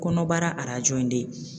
Kɔnɔbara arajo in de